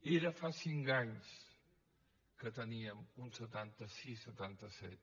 era fa cinc anys que teníem un setanta sis setanta set